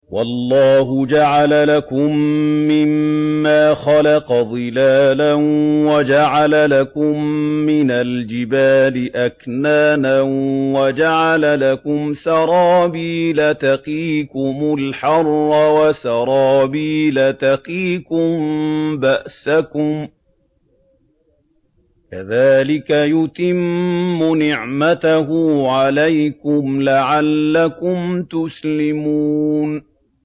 وَاللَّهُ جَعَلَ لَكُم مِّمَّا خَلَقَ ظِلَالًا وَجَعَلَ لَكُم مِّنَ الْجِبَالِ أَكْنَانًا وَجَعَلَ لَكُمْ سَرَابِيلَ تَقِيكُمُ الْحَرَّ وَسَرَابِيلَ تَقِيكُم بَأْسَكُمْ ۚ كَذَٰلِكَ يُتِمُّ نِعْمَتَهُ عَلَيْكُمْ لَعَلَّكُمْ تُسْلِمُونَ